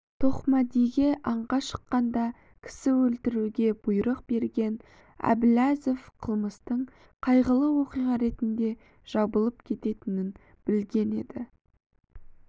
тоқмәдиге аңға шыққанда кісі өлтіруге бұйрық берген әбіләзов қылмыстың қайғылы оқиға ретінде жабылып кететінін білген еді